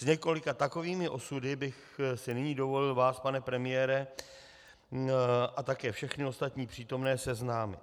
S několika takovými osudy bych si nyní dovolil vás, pane premiére, a také všechny ostatní přítomné seznámit.